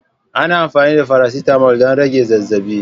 Ana amfani da faracetamol don rage zazzabi.